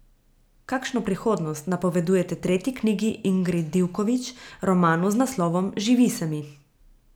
Kakšno prihodnost napovedujete tretji knjigi Ingrid Divković, romanu z naslovom Živi se mi?